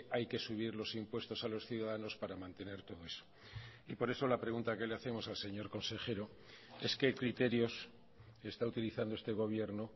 hay que subir los impuestos a los ciudadanos para mantener todo eso y por eso la pregunta que le hacemos al señor consejero es qué criterios está utilizando este gobierno